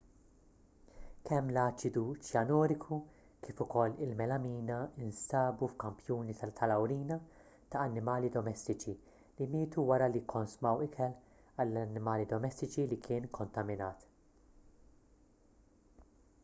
kemm l-aċidu ċjanuriku kif ukoll il-melamina nstabu f'kampjuni tal-awrina ta' annimali domestiċi li mietu wara li kkonsmaw ikel għall-annimali domestiċi li kien ikkontaminat